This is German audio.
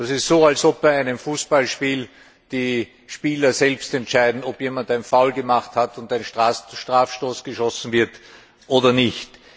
Das ist so, als ob bei einem Fußballspiel die Spieler selbst entscheiden, ob jemand ein Foul gemacht hat und ein Strafstoß geschossen wird oder nicht.